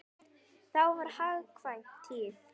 Þá var hagkvæm tíð.